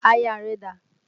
Aya rẹ dà?